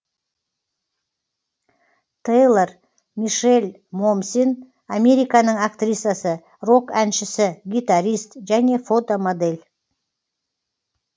те йлор мише ль мо мсен американың актрисасы рок әншісі гитарист және фотомодель